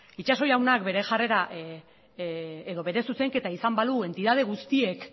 itxaso jaunak bere jarrera edo bere zuzenketa izango balu entitate guztiek